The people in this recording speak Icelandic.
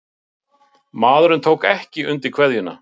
Maðurinn tók ekki undir kveðjuna.